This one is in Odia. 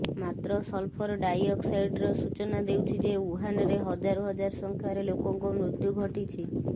ମାତ୍ର ସଲଫର ଡାଇଅକ୍ସାଇଡ୍ସ୍ତର ସୂଚାଇ ଦେଉଛି ଯେ ଉହାନରେ ହଜାର ହଜାର ସଂଖ୍ୟାରେ ଲୋକଙ୍କ ମୃତ୍ୟୁ ଘଟିଛି